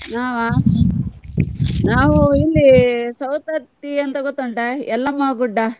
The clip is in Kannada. ನಾವ ನಾವ್ ಇಲ್ಲಿ Savadatti ಅಂತ ಗೊತುಂಟ Yellamma Gudda .